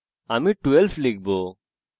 আমি 12 লিখব